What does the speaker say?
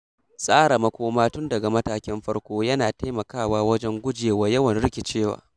Tsara makoma tun daga matakin farko yana taimakawa wajen gujewa yawan rikicewa.